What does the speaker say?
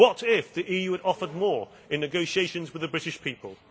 What if the EU had offered more in negotiations with the British people?